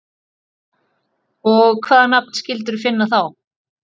Og hvaða nafn skildirðu finna þá?